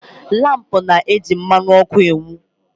Lampu na-eji mmanụ ọkụ na-enwu